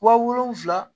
Wa wolonfila